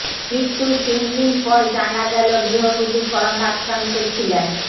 মৃত্যুর তিন দিন পর জানা গেল গৃহবধূ করোনাক্রান্ত ছিলেন